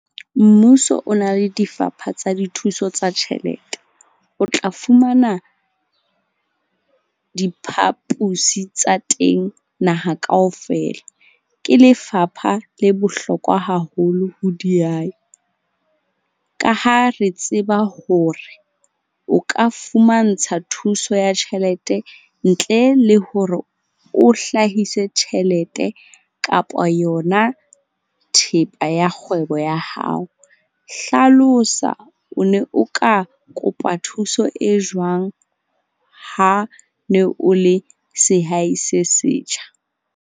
Mmuso o na le difapha tsa dithuso tsa tjhelete, o tla fumana diphapusi tsa teng naha kaofela. Ke lefapha le bohlokwa haholo ho dihai, ka ha re tseba hore o ka fumantsha thuso ya tjhelete ntle le hore o hlahise tjhelete kapa yona thepa ya kgwebo ya hao. Hlalosa o ne o ka kopa thuso e jwang ha ne o le sehai se setjha?